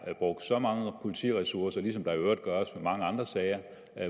er brugt så mange politiressourcer ligesom der i øvrigt gøres i mange andre sager